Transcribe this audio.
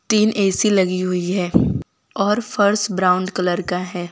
तीन ए_सी लगी हुई है और फर्श ब्राउन कलर का है।